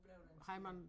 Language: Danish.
Hvor blev den tid af